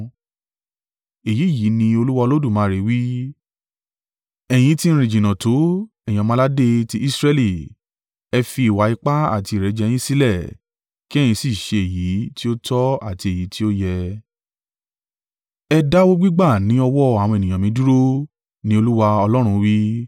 “ ‘Èyí yìí ni Olúwa Olódùmarè wí: Ẹ̀yin ti rìn jìnnà tó, ẹ̀yin ọmọ-aládé tí Israẹli! Ẹ fi ìwà ipá àti ìrẹ́jẹ yín sílẹ̀ kí ẹ̀yin sì ṣe èyí tí ó tọ́ àti èyí tí ó yẹ. Ẹ dáwọ́ gbígbà ní ọwọ́ àwọn ènìyàn mi dúró, ni Olúwa Ọlọ́run wí.